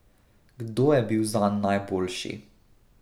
Kdo je bil zanj najboljši?